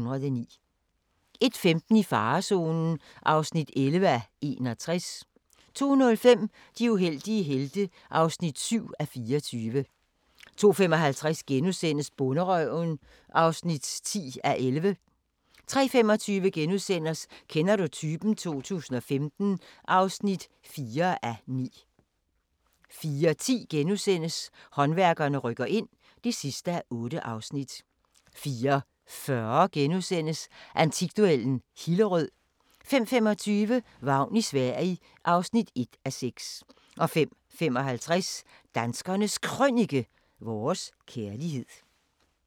01:15: I farezonen (11:61) 02:05: De uheldige helte (7:24) 02:55: Bonderøven (10:11)* 03:25: Kender du typen? 2015 (4:9)* 04:10: Håndværkerne rykker ind (8:8)* 04:40: Antikduellen – Hillerød * 05:25: Vagn i Sverige (1:6) 05:55: Danskernes Krønike - vores kærlighed